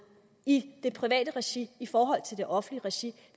i det private regi i forhold til det offentlige regi